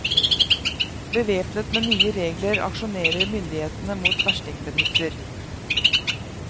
Bevæpnet med nye regler aksjonerer myndighetene mot verstingbedrifter.